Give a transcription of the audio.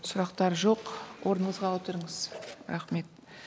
сұрақтар жоқ орныңызға отырыңыз рахмет